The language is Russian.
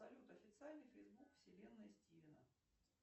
салют официальный фейсбук вселенной стивена